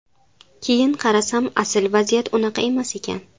Keyin qarasam asil vaziyat unaqa emas ekan.